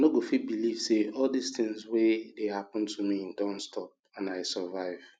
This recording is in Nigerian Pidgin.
i no go fit believe say all dis thing wey dey happen to me don stop and i survive